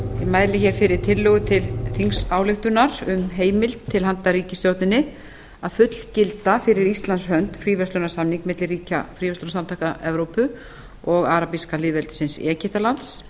mæli hér fyrir tillögu til þingsályktunar um heimild til handa ríkisstjórninni að fullgilda fyrir íslands hönd fríverslunarsamning milli ríkja fríverslunarsamtaka evrópu og arabíska lýðveldisins egyptalands